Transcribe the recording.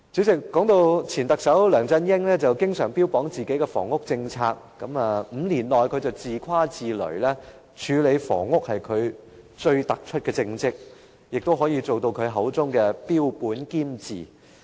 說到前特首梁振英，他經常標榜自己的房屋政策，更自誇自擂表示5年來，處理房屋問題是他最突出的政績，可以做到他口中的"標本兼治"。